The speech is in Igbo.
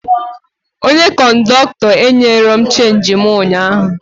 Onye kọndọktọ enyerọ m chenji mụ ụnyaahụ